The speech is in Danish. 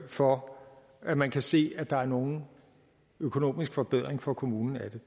for at man kan se at der er nogen økonomisk forbedring for kommunen ved